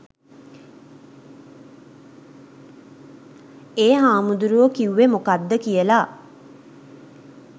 ඒ හාමුදුරුවෝ කිව්වෙ මොකක්ද කියලා